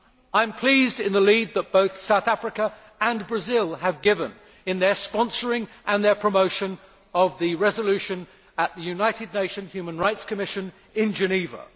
I am pleased with the lead that both South Africa and Brazil have given in their sponsoring and their promotion of the resolution at the United Nations Human Rights Commission in Geneva.